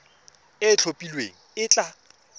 e e itlhophileng e tla